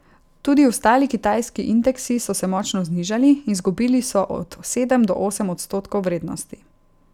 Tudi ostali kitajski indeksi so se močno znižali, izgubili so od sedem do osem odstotkov vrednosti.